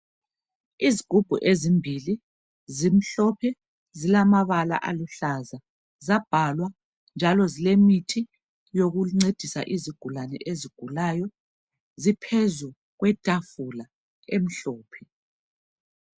Izigubhu ezimbili zimhlophe zilamabala aluhlaza zabhalwa njalo zilemithi yokuncedisa izigulane ezigulayo ziphezu kwetafula emhlophe.